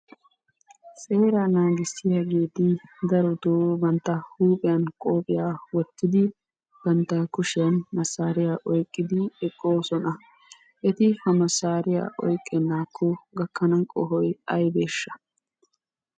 Seeraa naagissiyaageeti daro bantta huuphiya qophiyaa wottidi bantta kushiyaan masariyaa oyqqidi eqqoosona. Eti ha masariya oyqqenakko gakana qohoy aybbeshsha?